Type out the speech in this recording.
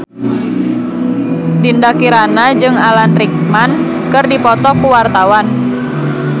Dinda Kirana jeung Alan Rickman keur dipoto ku wartawan